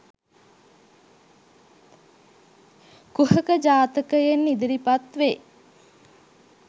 කුහක ජාතකයෙන් ඉදිරිපත් වේ.